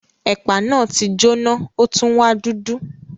Ẹ̀pà náà ti jóná o tun wa dudu.